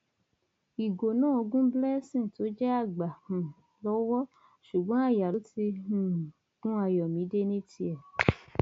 ìgò náà gun blessing tó jẹ àgbà um lọwọ ṣùgbọn aya ló ti um gun ayọmídé ní tiẹ